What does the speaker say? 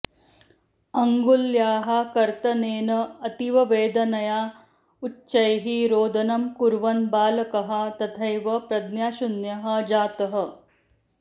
अङ्गुल्याः कर्तनेन अतीववेदनया उच्चैः रोदनं कुर्वन् बालकः तथैव प्रज्ञाशून्यः जातः